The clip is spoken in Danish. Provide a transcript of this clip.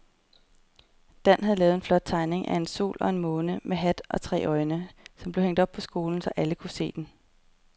Dan havde lavet en flot tegning af en sol og en måne med hat og tre øjne, som blev hængt op i skolen, så alle kunne se den.